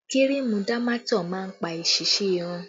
Kírìmù Dámátọ̀ máa ń pa èsísí irun